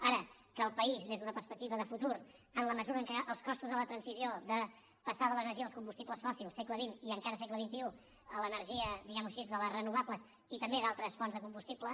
ara que el país des d’una perspectiva de futur en la mesura en què els costos de la transició de passar de l’energia dels combustibles fòssils segle xxaixí de les renovables i també d’altres fonts de combustible